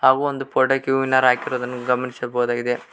ಹಾಗೂ ಒಂದು ಫೋಟೋಕ್ಕೆ ಹೂವಿನ ಹಾರ ಹಾಕಿರುವುದನ್ನು ಗಮನಿಸಬಹುದಾಗಿದೆ.